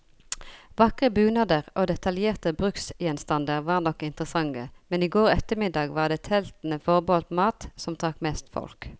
Vakre bunader og detaljerte bruksgjenstander var nok interessante, men i går ettermiddag var det teltene forbeholdt mat, som trakk mest folk.